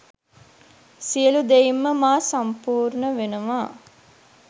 සියලූ දෙයින්ම මා සම්පූර්ණ වෙනවා.